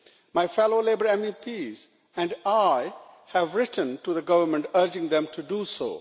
My fellow Labour MEPs and I have written to the government urging them to do so.